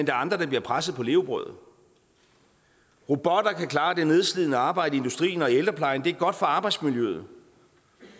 er andre der bliver presset på levebrødet robotter kan klare det nedslidende arbejde i industrien og i ældreplejen det er godt for arbejdsmiljøet